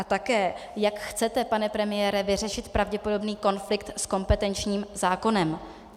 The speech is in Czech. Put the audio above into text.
A také, jak chcete, pane premiére, vyřešit pravděpodobný konflikt s kompetenčním zákonem?